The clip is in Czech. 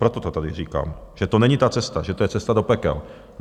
Proto to tady říkám, že to není ta cesta, že to je cesta do pekel.